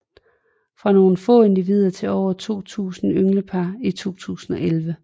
Fra nogle få individer til over 2000 ynglepar i 2011